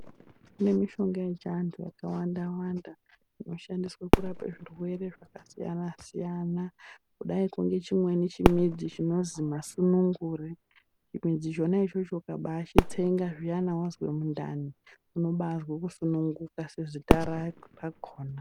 Kune mishonga yechiandu yakawanda -wanda inoshandiswa kurapa zvirwere zvakasiyana-siyana kudai nechimweni chimidzi chinonzi masunungure chimidzi chona ichocho ukabachitsenga zviyani wanzwa mundani unobazwa kusunguka sezita rakona.